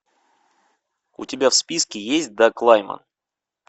у тебя в списке есть даг лайман